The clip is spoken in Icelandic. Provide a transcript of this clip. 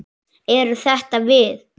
Eru þetta við?